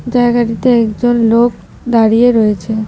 জায়গাটিতে একজন লোক দাঁড়িয়ে রয়েছে।